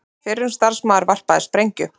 Fyrrum starfsmaður varpaði sprengju